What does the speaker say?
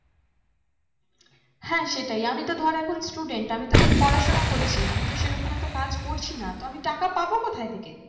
হ্যাঁ সেটাই আমি তো ধর এখন student আমি তো এখন পড়াশোনা করছি। আমি তো সে রকম অত কাজ করছি না তো আমি টাকা পাবো কোথায় থেকে?